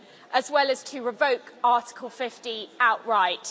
as well as to revoke Article 50 outright.